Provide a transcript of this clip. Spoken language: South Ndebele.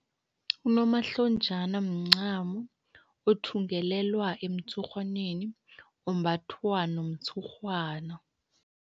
Unomahlonjana mncamo othungelelwa emtshurhwaneni, umbathwa nomtshurhwana.